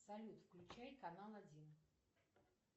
салют включай канал один